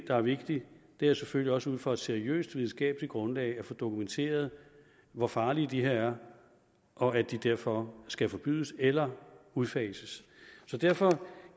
er vigtigt er selvfølgelig også ud fra et seriøst videnskabeligt grundlag at få dokumenteret hvor farlige de her er og at de derfor skal forbydes eller udfases derfor